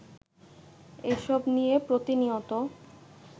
এসব নিয়ে প্রতিনিয়ত